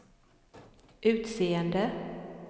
utseende